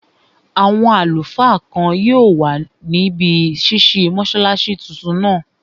Àwọn àlùfáà kan yóò wà níbi ṣísí mọ́sálásí tuntun náà